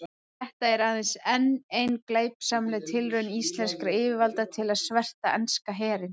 Þetta er aðeins enn ein glæpsamleg tilraun íslenskra yfirvalda til að sverta enska herinn.